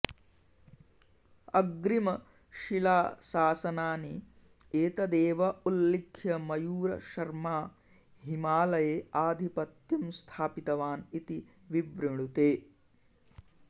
अग्रिमशिलाशासनानि एतदेव उल्लिख्य मयूरशर्मा हिमलये आधिपत्यं स्थापितवान् इति विवृणुते